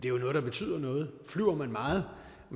er noget der betyder noget flyver man meget